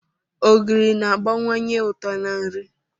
Ogiri na-agbakwunye uto na nri.